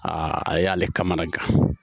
a y'ale kamanagan